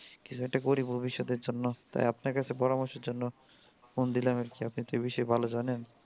কিছু একটা করি ভবিষৎ এর জন্য তাই আপনার কাছে পরার্মশ এর জন্য phone দিলাম আর কি আপনি তো এই বিষয়ে ভালো জানেন